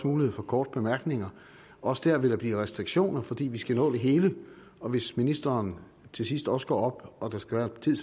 mulighed for korte bemærkninger også der vil der blive restriktioner fordi vi skal nå det hele og hvis ministeren til sidst også går op og der skal være tid